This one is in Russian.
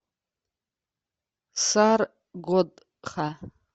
саргодха